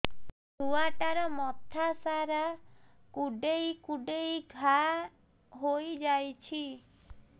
ଛୁଆଟାର ମଥା ସାରା କୁଂଡେଇ କୁଂଡେଇ ଘାଆ ହୋଇ ଯାଇଛି